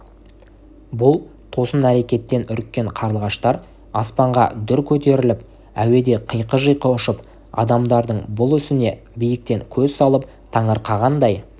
бұл тосын әрекеттен үріккен қарлығаштар аспанға дүр көтеріліп әуеде қиқы-жиқы ұшып адамдардың бұл ісіне биіктен көз салып таңырқағандай